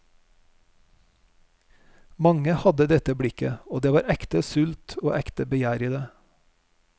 Mange hadde dette blikket, og det var ekte sult og ekte begjær i det.